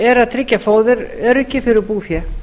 er að tryggja fóðuröryggi fyrir búfé